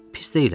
Pis deyiləm.